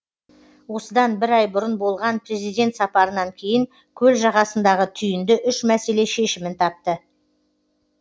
осыдан бір ай бұрын болған президент сапарынан кейін көл жағасындағы түйінді үш мәселе шешімін тапты